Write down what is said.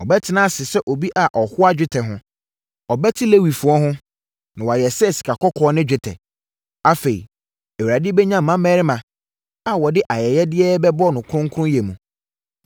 Ɔbɛtena ase sɛ obi a ɔhoa dwetɛ ho. Ɔbɛte Lewifoɔ no ho na wɔayɛ sɛ sikakɔkɔɔ ne dwetɛ. Afei Awurade bɛnya mmarimma a wɔde ayɛyɛdeɛ bɛba wɔ kronkronyɛ mu,